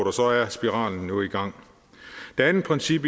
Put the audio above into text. og så er spiralen i gang det andet princip